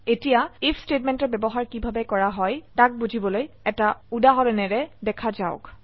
এতিয়া আইএফ স্টেটমেন্টৰ ব্যবহাৰ কিভাবে কৰা হয় তাক বুজিবলৈএটা উদাহৰনেৰে দেখা যাওক